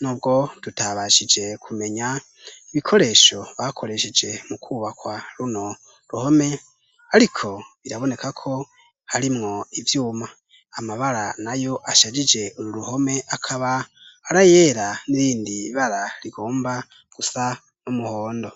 nubwo tutabashije kumenya ibikoresho bakoresheje mu kubakwa runo ruhome ariko birabonekako harimwo ivyuma, amabara nayo ashajije uru ruhome akaba arayera nirindi bara rigomba gusa numuhondo.